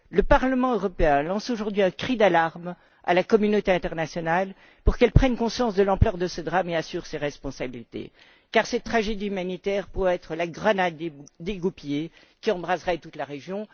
Le Parlement européen lance aujourd'hui un cri d'alarme à la communauté internationale pour qu'elle prenne conscience de l'ampleur de ce drame et assume ses responsabilités, car cette tragédie humanitaire pourrait bien être la grenade dégoupillée qui embraserait toute la région.